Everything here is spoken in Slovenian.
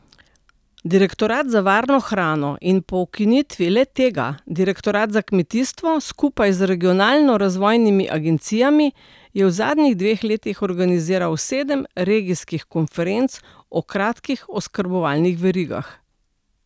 Direktorat za varno hrano in po ukinitvi le tega Direktorat za kmetijstvo skupaj z Regionalno razvojnimi agencijami je v zadnjih dveh letih organiziral sedem regijskih konferenc o kratkih oskrbovalnih verigah.